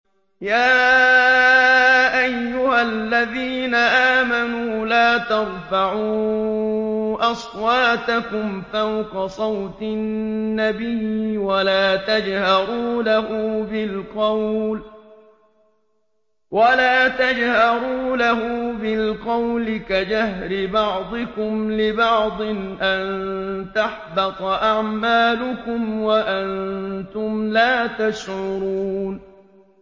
يَا أَيُّهَا الَّذِينَ آمَنُوا لَا تَرْفَعُوا أَصْوَاتَكُمْ فَوْقَ صَوْتِ النَّبِيِّ وَلَا تَجْهَرُوا لَهُ بِالْقَوْلِ كَجَهْرِ بَعْضِكُمْ لِبَعْضٍ أَن تَحْبَطَ أَعْمَالُكُمْ وَأَنتُمْ لَا تَشْعُرُونَ